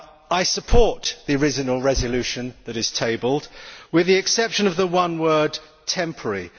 I support the original resolution tabled, with the exception of the one word temporary'.